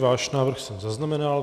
Váš návrh jsem zaznamenal.